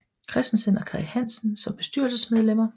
Christensen og Kaj Hansen som bestyrelsesmedlemmer